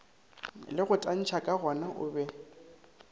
le go tantsha kagona obe